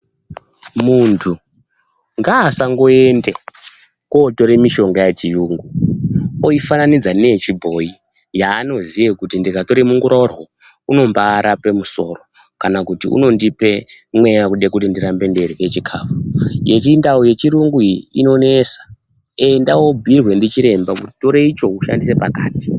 Muntu ngaasangoende kotore mishonga yechiyungu, oifananidza neyechibhoyi, yaanoziye kuti ndikatore munguraurwe uyu, unombaarape musoro, kana kuti unondipe mweya wekude kuti ndirambe ndeirye chikhafu. Yechindau yechirungu iyi inonesa, enda wobhuirwe ndichiremba kuti, tore icho ushandise pakati.